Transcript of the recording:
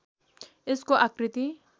यसको आकृति